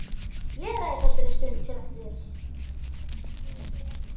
Ég ræð þessari stund sem eftir er.